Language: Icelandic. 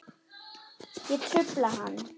Ég trufla hann.